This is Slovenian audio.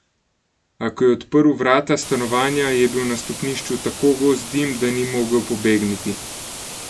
A, ko je odprl vrata stanovanja, je bil na stopnišču tako gost dim, da ni mogel pobegniti.